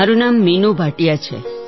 મારું નામ મીનુ ભાટિયા છે